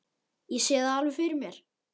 Ég sé það alveg fyrir mér.